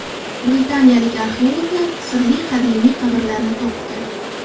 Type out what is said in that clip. Britaniyalik arxeologlar sirli qadimiy qabrlarni topdi.